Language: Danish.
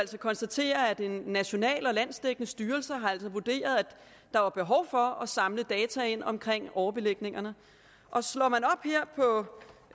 konstatere at en national og landsdækkende styrelse altså har vurderet at der var behov for at samle data ind om overbelægningerne og slår man